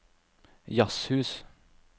jazzhus